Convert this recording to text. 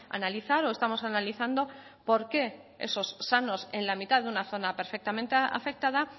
analizar o estamos analizando por qué esos sanos en la mitad de una zona perfectamente afectada